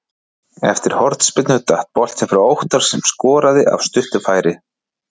Eftir hornspyrnu datt boltinn fyrir Óttar sem skoraði af stuttu færi.